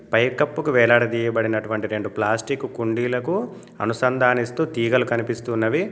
పైకప్పుకు వేలాడయబడినటువంటి రెండు ప్లాస్టిక్ కుండీలకు అనుసంధానిస్తూ తీగలు కనిపిస్తున్నవి.